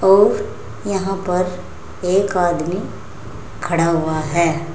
और यहां पर एक आदमी खड़ा हुआ है।